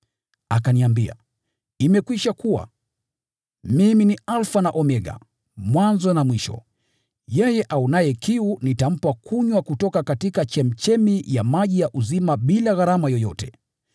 Akaniambia, “Imekwisha kuwa. Mimi ni Alfa na Omega, Mwanzo na Mwisho. Yeye aonaye kiu nitampa kunywa kutoka chemchemi ya maji ya uzima bila gharama yoyote.